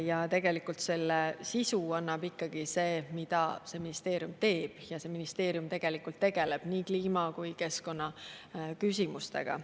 Ja tegelikult selle sisu annab ikkagi see, mida see ministeerium teeb, ja see ministeerium tegeleb nii kliima‑ kui ka keskkonnaküsimustega.